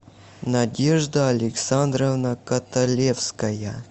надежда александровна каталевская